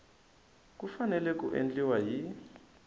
ku fanele ku endliwa hi